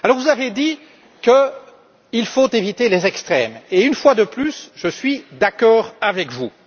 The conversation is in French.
Vous avez dit qu'il faut éviter les extrêmes et, une fois de plus, je suis d'accord avec vous.